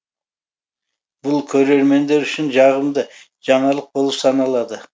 бұл көрермендер үшін жағымды жаңалық болып саналады